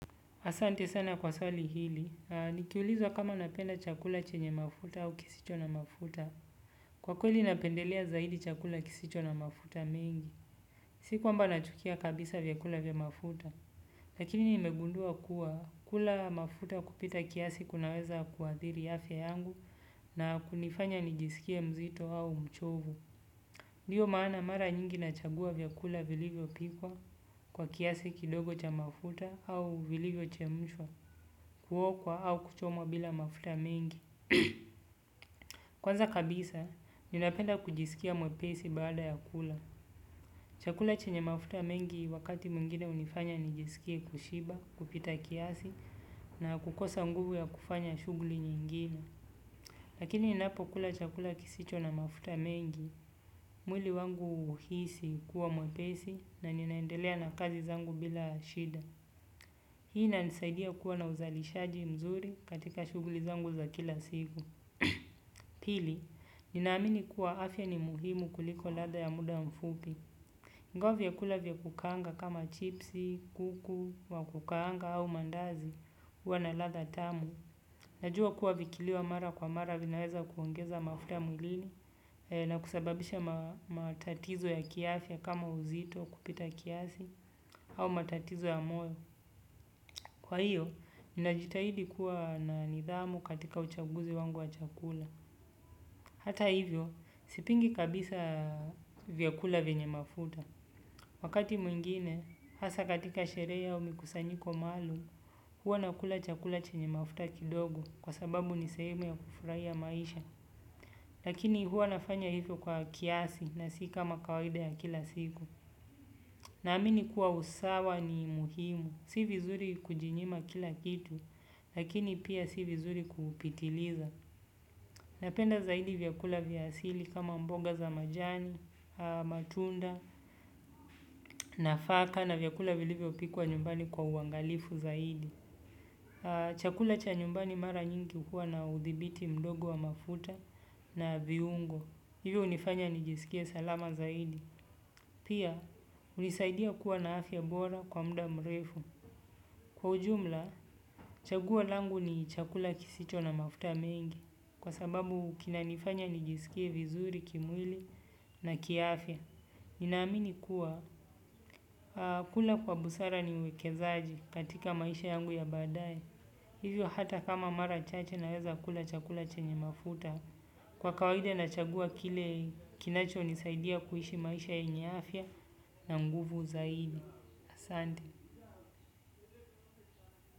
Asante sana kwa sali hili, nikiulizwa kama napenda chakula chenye mafuta au kisicho na mafuta. Kwa kweli napendelea zaidi chakula kisicho na mafuta mengi, si kwamba nachukia kabisa vyakula vya mafuta. Lakini nimegundua kuwa kula mafuta kupita kiasi kunaweza kuadhiri afya yangu na kunifanya nijisikie mzito au mchovu. Ndiyo maana mara nyingi nachagua vyakula viliyo pikwa kwa kiasi kidogo cha mafuta au viliyo chemushwa. Kuokwa au kuchomwa bila mafuta mengi. Kwanza kabisa, ninapenda kujisikia mwepesi baada ya kula. Chakula chenye mafuta mengi wakati mwingine unifanya nijisikie kushiba, kupita kiasi na kukosa nguvu ya kufanya shugli nyingine. Lakini inapo kula chakula kisicho na mafuta mengi mwili wangu uhisi kuwa mwepesi na ninaendelea na kazi zangu bila shida. Hii na nisaidia kuwa na uzalishaji mzuri katika shuguli zangu za kila siku. Pili, ninaamini kuwa afya ni muhimu kuliko ladha ya muda mfupi ingawa chakula vya kukaangwa chipsi kuku wa kukanga au mandazi huwa na ladha tamu. Najua kuwa vikiliwa mara kwa mara vinaweza kuongeza mafuta mulini na kusababisha matatizo ya kiafya kama uzito kupita kiasi au matatizo ya moyo. Kwa hiyo, ninajitahidi kuwa na nidhamu katika uchaguzi wangu wa chakula. Hata hivyo, sipingi kabisa vyakula venye mafuta. Wakati mwingine, hasa katika sherehe au mikusanyiko maalum, hua nakula chakula chenye mafuta kidogo kwa sababu nisaimu ya kufurai ya maisha. Lakini huwa nafanya hivyo kwa kiasi na si kama kawaida ya kila siku. Naamini kuwa usawa ni muhimu. Si vizuri kujinyima kila kitu, lakini pia si vizuri kuupitiliza. Napenda zaidi vyakula vya asili kama mboga za majani, matunda, nafaka na vyakula viliwe opikuwa nyumbani kwa uangalifu zaidi. Chakula cha nyumbani mara nyingi kuwa na udhibiti mdogo wa mafuta na viungo. Hivyo unifanya nijisikie salama zaidi. Pia, unisaidia kuwa na afya bora kwa muda mrefu. Kwa ujumla, chagua langu ni chakula kisicho na mafuta mengi. Kwa sababu kinanifanya nijisikie vizuri, kimwili na kiaafya. Ninaamini kuwa, kula kwa busara ni uwekezaji katika maisha yangu ya baadaye. Hivyo hata kama mara chache naweza kula chakula chenye mafuta. Kwa kawaida nachagua kile kinachinisaidia kuishi maisha yenye afya na nguvu zaidi asante.